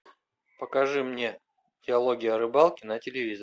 покажи мне диалоги о рыбалке на телевизоре